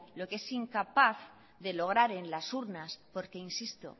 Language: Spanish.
lo que es incapaz de lograr en las urnas porque insisto